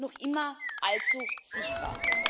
noch immer allzu sichtbar.